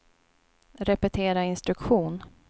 repetera instruktion